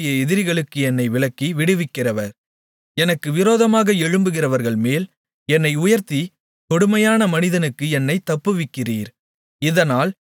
அவரே என்னுடைய எதிரிகளுக்கு என்னை விலக்கி விடுவிக்கிறவர் எனக்கு விரோதமாக எழும்புகிறவர்கள்மேல் என்னை உயர்த்திக் கொடுமையான மனிதனுக்கு என்னைத் தப்புவிக்கிறீர்